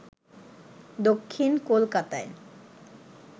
দক্ষিণ কলকাতায়